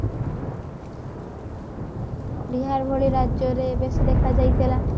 ବିହାର ଭଳି ରାଜ୍ୟରେ ବେଶୀ ଦେଖା ଯାଇଥିଲା